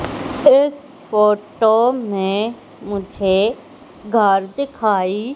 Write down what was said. इस फोटो में मुझे घर दिखाई--